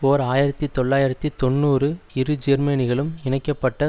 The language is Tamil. ஓர் ஆயிரத்தி தொள்ளாயிரத்து தொன்னூறு இரு ஜேர்மனிகளும் இணைக்க பட்ட